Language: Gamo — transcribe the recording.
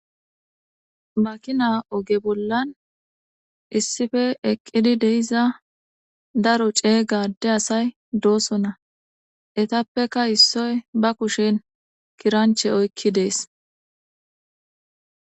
Makkina ogge bollan issippe eqqid de'izza daro cegga adde assayi doossona etappeka issoy ba kushshen kiranchche oyiki deesi.